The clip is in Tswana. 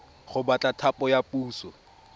go batla thapo ya puso